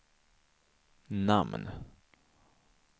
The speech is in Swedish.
namn